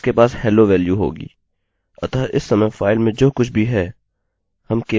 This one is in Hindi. अतः इस समय फाइल में जो कुछ भी है हम केवल उसे एकोecho कर रहे हैं